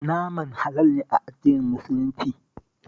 Naman halal ne a addinin Muslunci